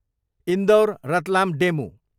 Indore, Ratlam DEMU